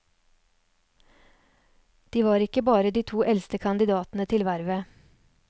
De var ikke bare de to eldste kandidatene til vervet.